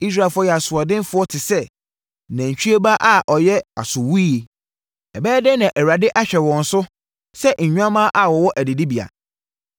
Israelfoɔ yɛ asoɔdenfoɔ te sɛ, nantwie ba a ɔyɛ asowuiɛ ɛbɛyɛ dɛn na Awurade ahwɛ wɔn so sɛ nnwammaa a wɔwɔ adidibea?